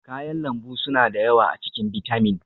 kayan lambu suna da yawa a cikin bitamin